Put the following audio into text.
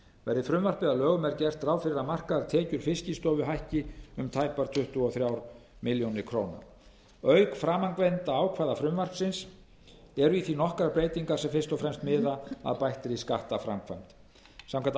verði frumvarpið að lögum er gert ráð fyrir að markaðar tekjur fiskistofu hækki um tæpar tuttugu og þrjár milljónir króna auk framangreindra ákvæða frumvarpsins eru í því nokkrar breytingar sem fyrst og fremst miða að bættri skattframkvæmd samkvæmt